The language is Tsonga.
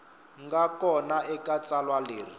nga kona eka tsalwa leri